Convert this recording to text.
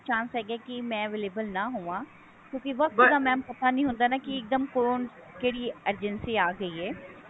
ਬਹੁਤ ਘੱਟ chance ਹੈ ਕਿ ਮੈਂ available ਨਾ ਹੋਵਾ ਕਿਉਂਕਿ mam ਵਕਤ ਦਾ ਪਤਾ ਨਹੀਂ ਹੁੰਦਾ ਕਿ ਇੱਕ ਦਮ ਕੋਣ ਕਿਹੜੀ emergency ਆ ਗਈ ਹੈ